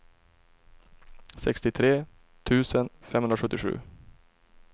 sextiotre tusen femhundrasjuttiosju